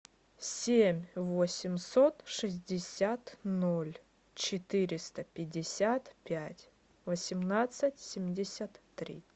семь восемьсот шестьдесят ноль четыреста пятьдесят пять восемнадцать семьдесят три